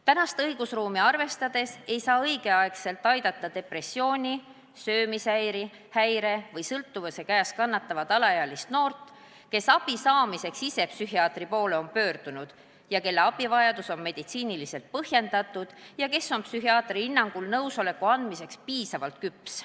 Tänases õigusruumis ei saa õigeaegselt aidata depressiooni, söömishäire või sõltuvuse käes kannatavat alaealist noort, kes abi saamiseks ise psühhiaatri poole on pöördunud ja kelle abivajadus on meditsiiniliselt põhjendatud ja kes on psühhiaatri hinnangul nõusoleku andmiseks piisavalt küps.